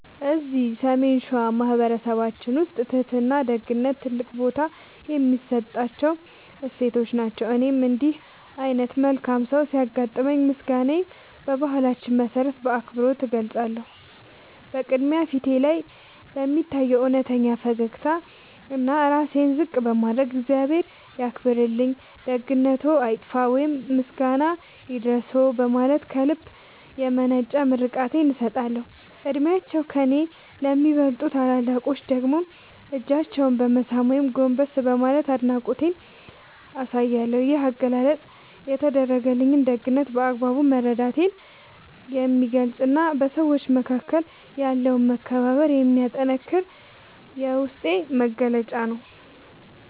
እዚህ ሰሜን ሸዋ በማኅበረሰባችን ውስጥ ትሕትናና ደግነት ትልቅ ቦታ የሚሰጣቸው እሴቶች ናቸው። እኔም እንዲህ ዓይነት መልካም ሰው ሲያጋጥመኝ ምስጋናዬን በባህላችን መሠረት በአክብሮት እገልጻለሁ። በቅድሚያ፣ ፊቴ ላይ በሚታይ እውነተኛ ፈገግታና ራሴን ዝቅ በማድረግ "እግዚአብሔር ያክብርልኝ፣ ደግነትዎ አይጥፋ" ወይም "ምስጋና ይድረስዎ" በማለት ከልብ የመነጨ ምርቃቴን እሰጣለሁ። ዕድሜያቸው ከእኔ ለሚበልጡ ታላላቆች ደግሞ እጃቸውን በመሳም ወይም ጎንበስ በማለት አድናቆቴን አሳያለሁ። ይህ አገላለጽ የተደረገልኝን ደግነት በአግባቡ መረዳቴን የሚገልጽና በሰዎች መካከል ያለውን መከባበር የሚያጠነክር የውስጤ መግለጫ ነው።